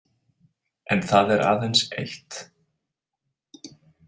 En það er aðeins eitt.